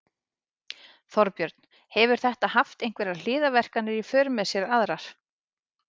Þorbjörn: Hefur þetta haft einhverjar hliðarverkanir í för með sér aðrar?